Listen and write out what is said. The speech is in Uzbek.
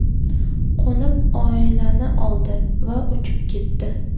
Qo‘nib, oilani oldi va uchib ketdi.